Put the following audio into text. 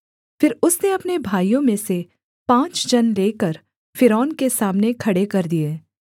फिर उसने अपने भाइयों में से पाँच जन लेकर फ़िरौन के सामने खड़े कर दिए